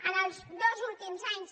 els dos últims anys